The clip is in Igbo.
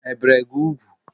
E bere gị ugwu?